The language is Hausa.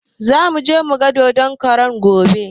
Zamuje mugan dodon karan gobe